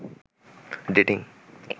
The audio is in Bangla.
ডেটিং